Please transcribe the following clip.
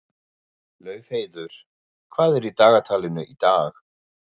Laufheiður, hvað er í dagatalinu í dag?